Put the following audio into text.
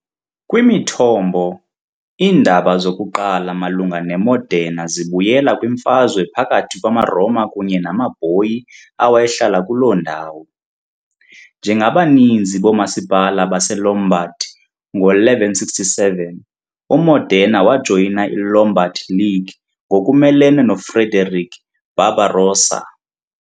Kwimithombo, iindaba zokuqala malunga neModena zibuyela kwimfazwe phakathi kwamaRoma kunye namaBoii awayehlala kuloo ndawo. Njengabaninzi boomasipala baseLombard ngo-1167 uModena wajoyina iLombard League ngokumelene noFrederick Barbarossa .